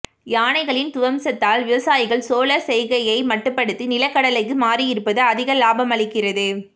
யானைகளின் துவம்சத்தால் விவசாயிகள் சோளச் செய்கையை மட்டுப்படுத்தி நிலக்கடலைக்கு மாறியிருப்பது அதிக இலாபமளிக்கிறது